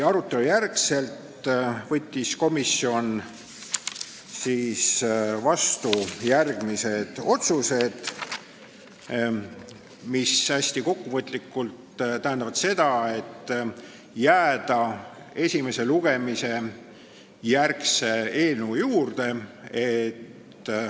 Pärast arutelu võttis komisjon vastu otsused, mis hästi kokkuvõtlikult tähendavad seda, et tuleb jääda esimese lugemise järgse eelnõu juurde.